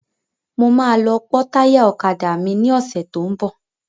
Mo máa lọ pe táyà ọ̀kadà mi ní ọ̀sẹ́ tó ń bọ̀.